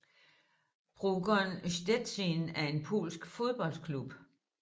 Pogoń Szczecin er en polsk fodboldklub